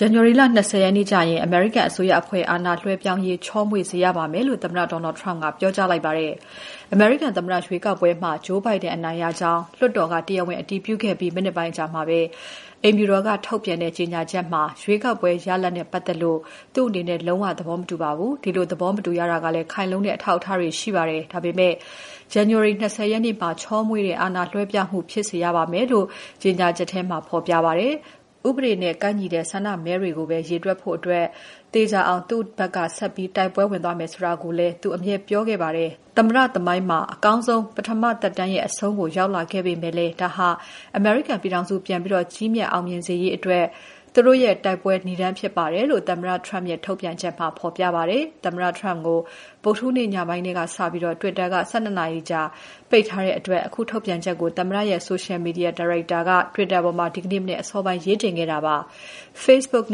ဇန်နဝါရီလ ၂၀ ရက်နေ့ကျရင် အမေရိကန်အစိုးရအဖွဲ့ အာဏာလွှဲပြောင်းရေး ချောမွေ့စေရပါမယ်လို့ သမ္မတ ဒေါ်နယ်လ်ဒ် ထရမ့်ပ်က ပြောလိုက်ပါတယ်။ အမေရိကန်သမ္မတရွေးကောက်ပွဲမှာ Joe Biden အနိုင်ရကြောင်း လွှတ်တော်က တရားဝင် အတည်ပြုခဲ့ပြီး မိနစ်ပိုင်းအကြာမှာပဲ အိမ်ဖြူတော်က ထုတ်ပြန်တဲ့ ကြေညာချက်မှာ "ရွေးကောက်ပွဲရလဒ်နဲ့ပတ်သက်ပြီး ကျနော် လုံးဝ သဘောမတူပါဘူး။၊ ဒီလိုသဘောမတူရတာကလည်း ခိုင်လုံတဲ့အထောက်အထားတွေရှိပါတယ်။၊ ဒါပေမဲ့ ဇန်နဝါရီလ ၂၀ ရက်နေ့မှာ ချောမွေ့တဲ့ အာဏာလွှဲပြောင်းမှုဖြစ်စေရပါမယ်။" လို့ ဖော်ပြထားပါတယ်။ "ဥပဒေနဲ့ကိုက်ညီတဲ့ ဆန္ဒမဲတွေကိုပဲ ရေတွက်ရေး သေချာစေဖို့ ကျနော်တို့ ဆက်ပြီး တိုက်ပွဲဝင်သွားမယ်ဆိုတာ ကျနော် အမြဲပဲပြောခဲ့ပါတယ်။ သမ္မတသမိုင်းမှာ အကောင်းဆုံး ပထမသက်တမ်းရဲ့ အဆုံးသတ်ကို ရောက်လာပေမဲ့လည်း ဒါဟာ အမေရိကန်ပြည်ထောင်စု ပြန်ပြီး ကြီးမြတ် အောင်မြင်စေရေး ကျနော်တို့တိုက်ပွဲရဲ့ နိဒါန်းပဲဖြစ်ပါတယ်။" လို့ သမ္မတထရမ့်ပ်ရဲ့ ထုတ်ပြန်ချက်မှာ ပြောထားပါတယ်။ သမ္မတထရမ့်ပ်ကို ဗုဒ္ဓဟူးညနေပိုင်းကစပြီး Twitter က ၁၂ နာရီကြာ ပိတ်ထားတဲ့အတွက် အခုထုတ်ပြန်ချက်ကို သမ္မတရဲ့ ဆိုရှယ်မီဒီယာ ဒါရိုက်တာ Dan Scavino က Twitter မှာ ဒီကနေ့မနက် အစောပိုင်းက ရေးတင်ခဲ့တာပါ။ Facebook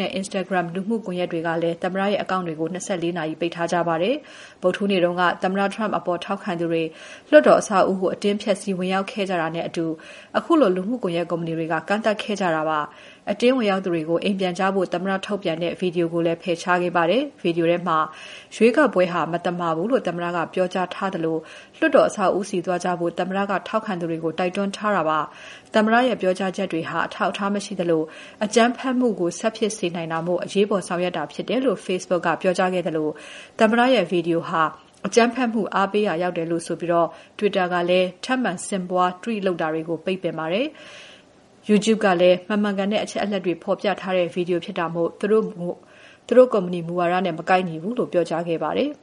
နဲ့ Instagram လူမှုကွန်ယက်တွေကလည်း သမ္မတရဲ့ အကောင့်တွေကို ၂၄ နာရီပိတ်ထားပါတယ်။ ဗုဒ္ဓဟူးနေ့တုန်းက သမ္မတ Trump အပေါ် ထောက်ခံသူတွေ လွှတ်တော်အဆောက်အဦးကို အတင်းဖျက်စီးဝင်ရောက်ခဲ့ကြတာနဲ့အတူ အခုလိုလူမှုကွန်ယက်ကုမ္ပဏီတွေက ကန့်သတ်လိုက်ကြတာဖြစ်ပါတယ်။ အတင်းဝင်ရောက်သူတွေကို အိမ်ပြန်ကြဖို့သမ္မတ ထုတ်ပြန်တဲ့ ဗီဒီယိုကိုလည်း ဖယ်ရှားခဲ့ကြပါတယ်။ ဗီဒီယိုထဲမှာ ရွေးကောက်ပွဲဟာ မသမာဘူးလို့သမ္မတက ပြောကြားထားသလို လွှတ်တော်အဆောက်အဦးဆီသွားကြဖို့ သမ္မတက ထောက်ခံသူတွေကို တိုက်တွန်းထားပါတယ်။ သမ္မတရဲ့ ပြောကြားချက်တွေဟာ အထောက်အထားမရှိသလို အကြမ်းဖက်မှုကို ဆက်ဖြစ်စေနိုင်တာမို့ အရေးပေါ် ဆောင်ရွက်တာဖြစ်တယ်လို့ Facebook ကပြောခဲ့သလို သမ္မတရဲ့ ဗီဒီယိုဟာ အကြမ်းဖက်မှုအားပေးရာရောက်တယ်လို့ဆိုပြီး Twitter ကလည်း ထပ်မံဆင့်ပွား Tweet လုပ်တာတွေကို ပိတ်ပင်ခဲ့ပါတယ်။ YouTube ကလည်း မမှန်ကန်တဲ့အချက်အလက်တွေ ဖော်ပြထားတဲ့ ဗီဒီယိုဖြစ်တာမို့ သူတို့ ကုမ္ပဏီမူဝါဒနဲ့ မကိုက်ညီဘူးလို့ ပြောကြားခဲ့ပါတယ်။